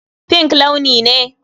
Pink launi ne.